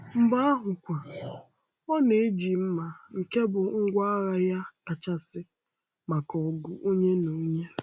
Mgbe ahụkwa, ọ na-eji mma, nke bụ ngwá agha ya kachasị maka ọgụ onye na onye.